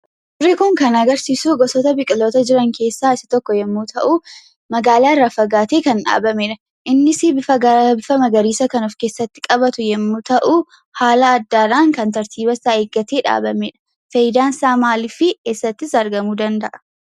Fakkiin kun kan agarsiisu, gosoota biqiltoota jiran keessaa isa tokko yommuu ta'u, magaalaa irraa fagaatee kan dhaabameedha. Innis bifa magariisa kan of keessatti qabatu yommuu ta'u, haala addaadhaan kan tartiibasaa eeggatee dhaabamee dha. Faayidaan isaa maali? fi eessattis argamuu danda'a?